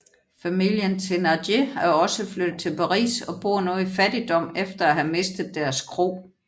Familien Thénardier er også flyttet til Paris og bor nu i fattigdom efter at have mistet deres kro